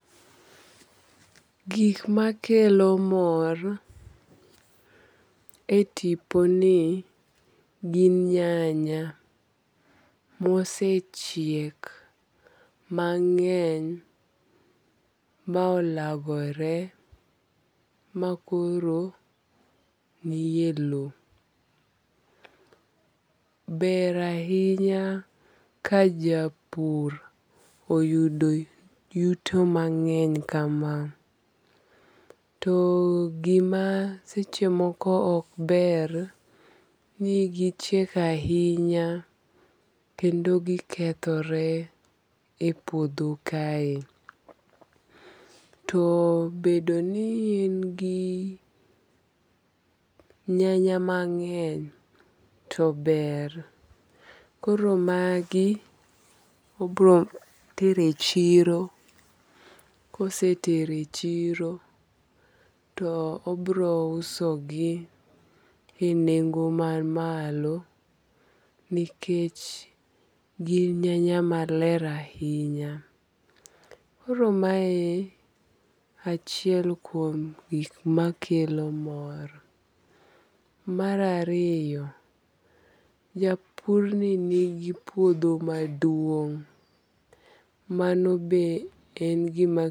Gik makeko mor e tiponi gin nyanya mosechiek mangeny ma olagore ma koro nie lowo, ber ahinya ka japur oyudo yuto mang'eny kama, to gima seche moko ok ber ni gichiek ahinya kendo gikethore e puodho kae, to bedo ni en gi nyanya mang'eny to maber, koro magi to obro tero e chiro, kosetero e chiro to obro usogi gi nengo mamalo nikech gin nyanya maler ahinya, koro mae e achiel kuom gik makelo mor. Mar ariyo japurni nigi puodho maduong' mano be en gima